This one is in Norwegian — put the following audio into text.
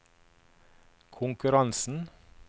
konkurransen